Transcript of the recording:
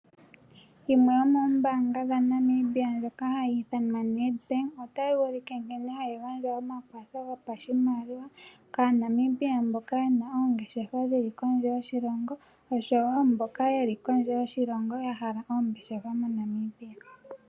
Yimwe yomoombanga dha Namibia ndjoka hayi iithanwa NedBank, otayi ulike nkene hayi gandja omakwatho gopashimaliwa kaa Namibia mboka yena oongeshefa dhili kondje yoshilongo, osho wo mbok a yeli kondje yoshilongo ya hala oongeshefa moNamibia.